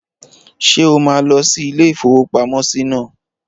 Ṣé o máa lọ sí ilé-ìfowópamọ́sí náà?